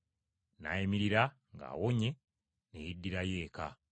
N’ayimirira ng’awonye, ne yeddirayo eka.